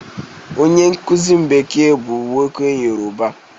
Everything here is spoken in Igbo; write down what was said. Onye nkuzi m bekee bu nwoke yoruba.